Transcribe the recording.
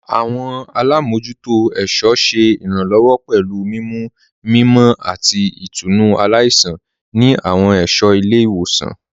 Awọn alámojútò ẹ̀ṣọ ṣé iránlọ́wọ́ pẹ̀lú mimú mímọ̀ àti ìtúnu aláìṣan ni awọn ẹṣọ ilẹ̀-iwosan.